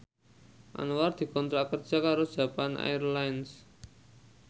Anwar dikontrak kerja karo Japan Airlines